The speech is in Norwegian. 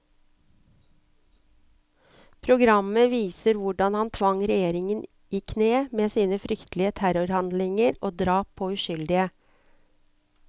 Programmet viser hvordan han tvang regjeringer i kne med sine fryktelige terrorhandlinger og drap på uskyldige.